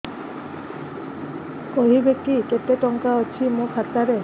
କହିବେକି କେତେ ଟଙ୍କା ଅଛି ମୋ ଖାତା ରେ